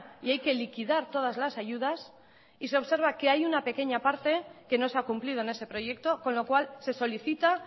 y hay que liquidar todas las ayudas y se observa que hay una pequeña parte que no se ha cumplido en ese proyecto con lo cual se solicita